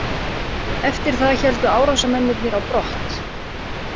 Eftir það héldu árásarmennirnir á brott